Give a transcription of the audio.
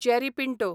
Jerry Pinto